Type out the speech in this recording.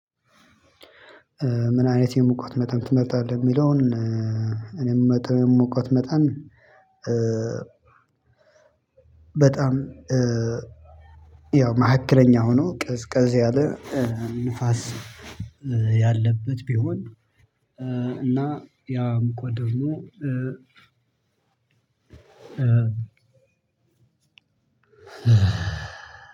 ምን አይነት የሙቀት መጠን ትመርጣለህ? የሚለውን እኔ የምመርጠው የሙቀት መጠን። በጣም ያው መካከለኛ ሆኖ ቀዝቀዝ ያለ ንፋስ ያለበት ቢሆን። እና ያም ሙቀት ደሞ